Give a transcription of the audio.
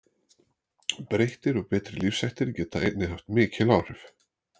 Breyttir og betri lífshættir geta einnig haft mikil áhrif.